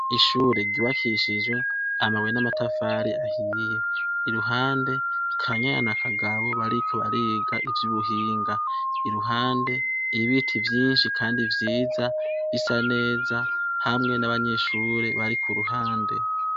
Ishure giwakishijwe amabuye n'amatafari ahiye iruhande kanyana na akagabo bariko bariga ivyo ubuhinga iruhande ibiti vyinshi, kandi vyiza bisa neza hamwe n'abanyishure bari ku ruhande.